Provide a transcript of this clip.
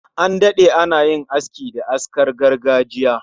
An dade ana yin aski da askar gargajiya